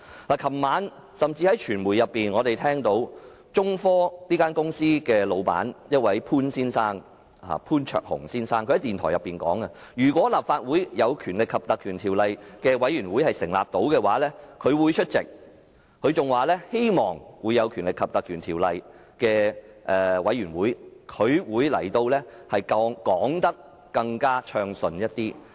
昨天晚上傳媒報道，中科興業有限公司的老闆潘焯鴻先生在電台訪問中表示，如果立法會根據《條例》成立專責委員會，他會出席會議，在獲《條例》授權的專責委員會會議上，他可以解釋得更加順暢。